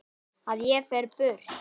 Að ég fer burt.